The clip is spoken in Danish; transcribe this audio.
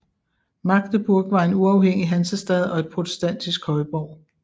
Magdeburg var en uafhængig hansestad og en protestantisk højborg